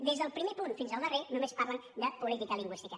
des del primer punt fins al darrer només parlen de política lingüística